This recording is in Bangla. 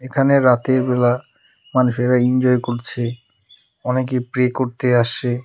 এখানে রাতের বেলা মানুষেরা ইনজয় করছে অনেকে প্রে করতে আসসে ।